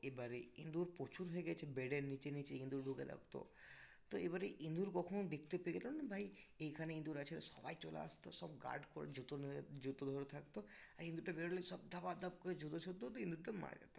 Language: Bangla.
তো এবারে ইন্দুর প্রচুর হয়ে গেছে bed এর নিচে নিচে ইঁদুর ঢুকে থাকতো. তো এবারে ইঁদুর কখনো দেখতে পেয়ে যেতাম ভাই এইখানে ইঁদুর আছে সবাই চলে আসতো সব guard করে জুতো নিয়ে জুতো ধরে থাকতো আর ইন্দুরটা বেরোলেই সব ধপা ধপ করে জুতো ছুঁড়তো দিয়ে ইন্দুরটা মারা যেত